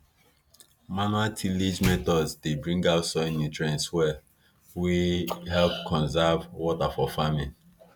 manual tillage methods dey bring out soil nutrients well wey help conserve water for farming